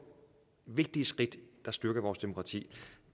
vigtige skridt der styrker vores demokrati